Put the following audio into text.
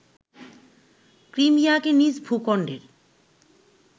ক্রিমিয়াকে নিজ ভূখণ্ডের